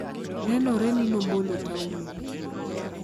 nenore ni nobolo taulo,